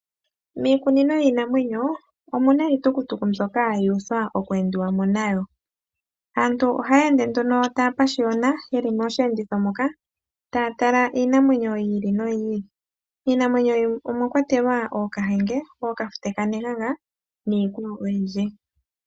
Miikunino yiinamwenyo omuna iitukutu mbyoka yu uthwa oku endiwamo nayo. Aantu ohaya ende nduno ta ya pashiyona yeli mosheenditho moka taya tala iinamwenyo yi ili noyi ili . Iinamwenyo mbino omwakwatelwa ookaandje, ookafute ka nenganga niikwawo oyindji.